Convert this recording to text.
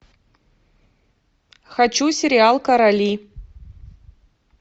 хочу сериал короли